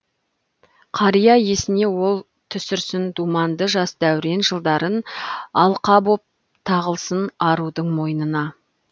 қария есіне ол түсірсін думанды жас дәурен жылдарын алқа боп тағылсын арудың мойнына